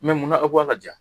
A mun na aw k'a ka ja ?